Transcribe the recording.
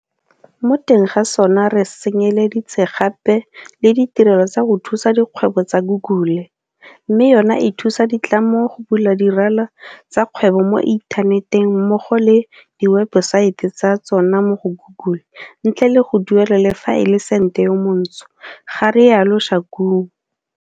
Mo teng ga sona re tsenyeleditse gape le ditirelo tsa go thusa dikgwebo tsa Google, mme yona e thusa ditlamo go bula dirala tsa kgwebo mo inthaneteng mmogo le diwebesaete tsa tsona mo go Google ntle le go duelela le fa e le sente yo montsho, ga rialo Shakung.